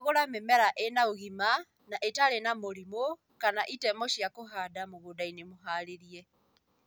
Cagũra mĩmera ĩna ũgima na ĩtarĩ na mĩrimu kana itemo cia kũhanda mũgũndainĩ mũharĩrie